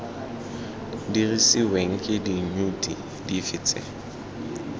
dirisiweng ke diyuniti dife tse